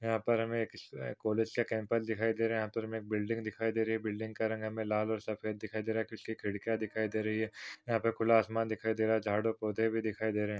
यहाँ पर हमें एक क कॉलेज का कॅम्पस दिखाई दे रहा है। यहा पर हमे बिल्डिंग दिखाई दे रही है। बिल्डिंग का रंग हमें लाल और सफ़ेद दिखाई दे रहा है। कुछ खिड़किया दिखाई दे रही है। यहा पर खुला आसमान दिखाई दे रहा है। झाड़ और पौधे भी दिखाई दे रहे है।